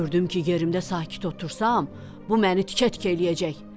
Gördüm ki, yerimdə sakit otursam, bu məni tikə-tikə eləyəcək.